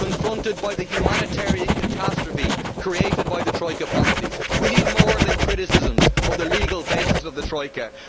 Confronted by the humanitarian catastrophe created by the Troika policies, we need more than criticisms of the legal basis of the Troika.